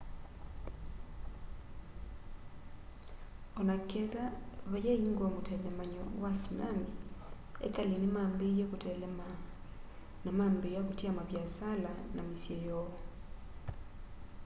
oneketha vayaingwa mutelemanyo wa tsunami ekali nimambie kuteelema na mambiia kutia maviasala na misyi yoo